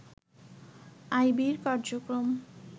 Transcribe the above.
আইবির কার্যক্রম